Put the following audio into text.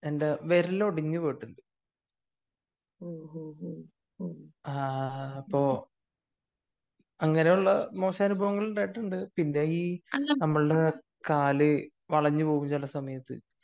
എൻ്റെ വിരൽ ഒടിഞ്ഞു പോയിട്ടുണ്ട് ആഹ് അപ്പൊ അങ്ങനെയുള്ള മോശം അനുഭവങ്ങൾ ഉണ്ടായിട്ടുണ്ട് . പിന്നെ ഈ നമ്മളുടെ കാല് വളഞ്ഞു പോകും ചില സമയത്തു.